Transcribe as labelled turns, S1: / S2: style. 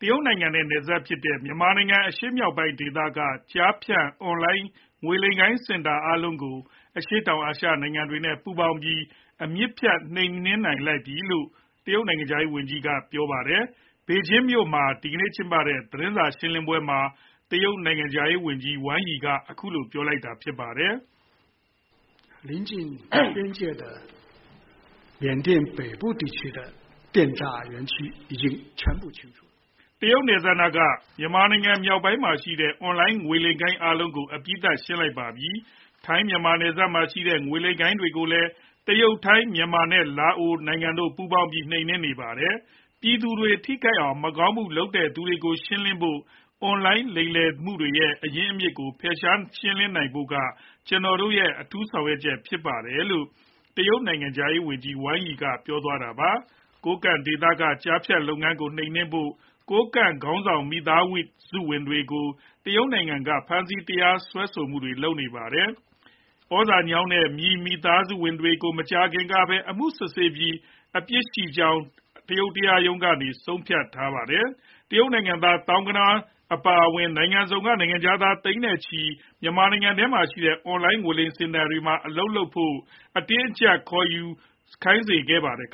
S1: တရုတ်နိုင်ငံနဲ့နယ်စပ်ဖြစ်တဲ့ မြန်မာနိုင်ငံအရှေ့မြောက်ပိုင်းဒေသက ကျားဖြန့်အွန်လိုင်း ငွေလိမ်လုပ်ငန်း စင်တာအားလုံးကို အရှေ့တောင်အာရှနိုင်ငံတွေနဲ့ ပူးပေါင်းပြီး အမြစ်ဖြတ်နှိမ်နင်းလိုက်ပြီလို့ တရုတ် နိုင်ငံက ပြောပါတယ်။ ဘေဂျင်းမြို့တော်မှာ ဒီနေ့ကျင်းပတဲ့ သတင်းစာရှင်းပွဲမှာ တရုတ်နိုင်ငံခြားရေး ဝန်ကြီး Wang Yi က အခုလို ပြောကြားခဲ့တာဖြစ်ပါတယ်။ “တရုတ်နယ်စပ်နားက မြန်မာနိုင်ငံမြောက်ပိုင်းမှာရှိတဲ့ အွန်လိုင်းငွေလိမ်လုပ်ငန်းအားလုံးကို အပြီးသတ် ရှင်းလင်းလိုက်ပါပြီ။ ထိုင်း-မြန်မာနယ်စပ်မှာရှိနေတဲ့ ငွေလိမ်ဂိုဏ်းတွေကိုလည်း တရုတ်၊ ထိုင်း၊ မြန်မာ နဲ့လာအိုနိုင်ငံတို့ပေါင်းပြီး နှိမ်နင်းနေပါတယ်။ ပြည်သူတွေထိခိုက်အောင် မကောင်းမှုလုပ်နေသူတွေကို ရှင်းလင်းဖို့နဲ့ အွန်လိုင်းလိမ်လည်မှုတွေရဲ့ အရင်းအမြစ်တွေကို ဖယ်ရှားလင်းလင်းနိုင်ဖို့က ကျနော်တို့ရဲ့ အထူးဆောင်ရွက်ချက်ဖြစ်ပါတယ်လို့” တရုတ်နိုင်ငံခြားရေးဝန်ကြီး Wang Yi က ပြောသွားတာြဖစ်ပါ တယ်။ ကိုးကန့်ဒေသက ကျားဖြန့်လုပ်ငန်းတွေကို နှိမ်နင်းနိုင်ဖို့ ကိုးကန့်ခေါင်းဆောင်မိသားစုဝင်တွေကို တရုတ်နိုင်ငံက ဖမ်းဆီး တရားစွဲမှုတွေလုပ်နေပါတယ်။ ဩဇာညောင်းတဲ့ မြီမိသားစုဝင်တွေကို မကြာခင်ကပဲအမှုစစ်ဆေးပြီး အပြစ်ရှိကြောင်း တရုတ်တရားရုံးက ဆုံးဖြတ်ထားပါတယ်။ တရုတ် နိုင်ငံသား သောင်းဂဏန်းအပါအဝင် နိုင်ငံစုံက နိုင်ငံခြားသား သိန်းနဲ့ချီကို မြန်မာနိုင်ငံထဲမှာရှိတဲ့ အွန်လိုင်း ငွေလိမ်စင်တာတွေမှာအလုပ်လုပ်ဖို့ မက်လုံးပေးခေါ်ယူ အတင်းအကြပ်ခိုင်းစေခဲ့ပါတယ်။